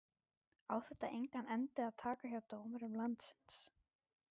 Á þetta engan endi að taka hjá dómurum landsins?